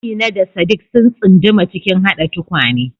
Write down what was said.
Amina da Sadiq sun tsunduma cikin haɗa tukwane.